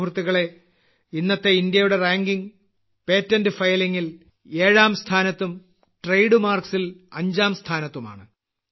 സുഹൃത്തുക്കളേ ഇന്നത്തെ ഇന്ത്യയുടെ റാങ്കിംഗ് പേറ്റന്റ് ഫൈലിംഗ് ൽ 7ാം സ്ഥാനത്തും ട്രേഡ് മാർക്ക്സ് ൽ 5ാം സ്ഥാനത്തുമാണ്